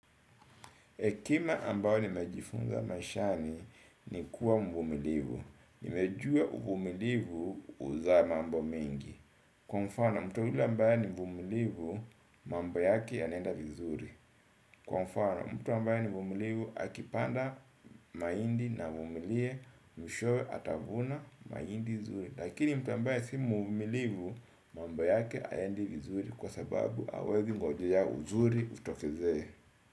Ekema ambayo nimejifunza mashani ni kuwa mvumilivu. Nimejua uvumilivu uzaa mambo mengi. Kwa mfano, mtu yule ambayo ni mvumilevu, mamba yake anenda vizuri. Kwa mfano, mtu ambaye ni mvumilivu, akipanda maindi na mvumile, mishowe atavuna maindi vizuri. Lakini mtu ambayo ni mvumilevu, mamba yake ayendi vizuri kwa sababu awezi ngojeja vizuri utofize.